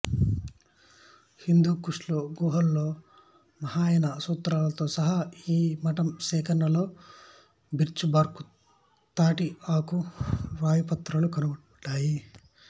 హిందూ కుష్ గుహలలో మహాయాన సూత్రాలతో సహా ఈ మఠం సేకరణలో బిర్చిబార్కు తాటి ఆకు వ్రాతప్రతులు కనుగొనబడ్డాయి